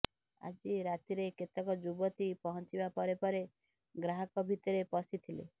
ଆଜି ରାତିରେ କେତେକ ଯୁବତୀ ପହଞ୍ଚିବା ପରେ ପରେ ଗ୍ରାହକ ଭିତରେ ପଶିଥିଲେ